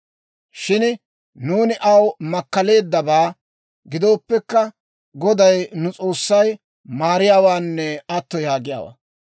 Shin nuuni aw makkaleeddabaa gidooppekka, Goday nu S'oossay maariyaawaanne atto yaagiyaawaa.